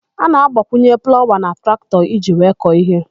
A na-agbakwunye plawa na traktọ iji wee kọọ íhé.